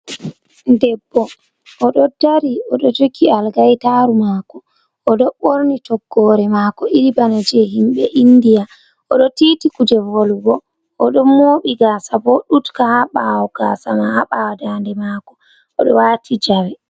Debbo, o ɗo dari, o ɗo jogi algaytaaru maako, o ɗo ɓorni toggoore maako irin bana jey himɓe indiya, o ɗo tiiti kuje, volwugo, o ɗon mooɓi gaasa bo ɗuutka haa ɓaawo gaasa ma, haa ɓaawo daande maako, o ɗo waati jawe.